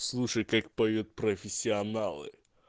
слушай как поют профессионалы